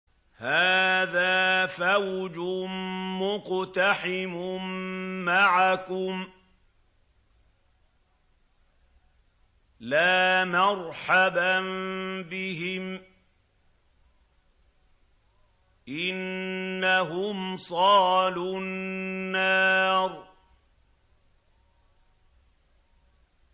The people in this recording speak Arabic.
هَٰذَا فَوْجٌ مُّقْتَحِمٌ مَّعَكُمْ ۖ لَا مَرْحَبًا بِهِمْ ۚ إِنَّهُمْ صَالُو النَّارِ